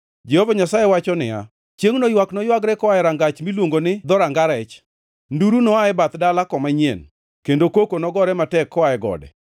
Chiengʼno, anakum ji duto mamiel e laru mar dino cham, kendo mapongʼo hekalu mar nyiseche manono gi timbe mahundu kod wuond.”